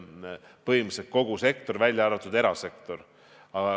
Ma pean silmas põhimõtteliselt kogu sektorit, välja arvatud erasektor.